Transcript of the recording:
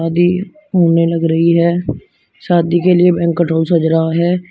शादी होने लग रही है शादी के लिए बैंकट हॉल सज रहा है।